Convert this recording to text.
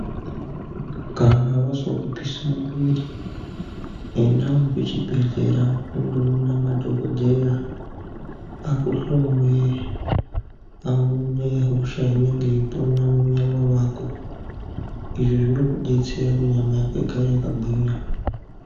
Kana wazwa kupisa muviri endawo kuchibhedhlera undoona madhokodheya akuhloye aone hosha inonge yeipona munyama mwako izvi zvinokudetsera kuti nyama yako igare yakagwinya.